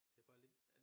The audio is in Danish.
Det bare lidt